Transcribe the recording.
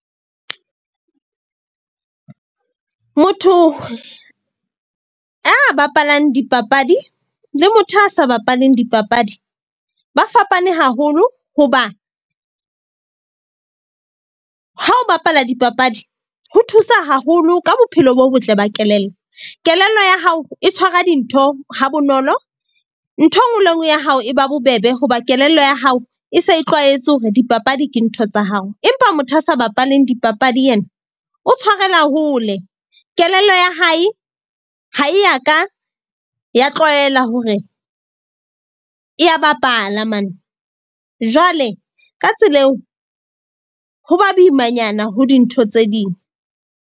Motho a bapalang dipapadi le motho a sa bapaleng dipapadi ba fapane haholo. Hoba ha o bapala dipapadi, ho thusa haholo ka bophelo bo botle ba kelello. Kelello ya hao e tshwara dintho ha bonolo. Nthwe nngwe le e nngwe ya hao e ba bobebe hoba kelello ya hao e se e tlwaetse hore dipapadi ke ntho tsa hao. Empa motho a sa bapaleng dipapadi yena o tshwarela hole. Kelello ya hae ha e ya ka ya tlwaela hore e ya bapala . Jwale ka tsela eo ho ba boimanyana ho dintho tse ding.